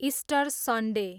Easter Sunday